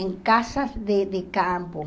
Em casa de de campo.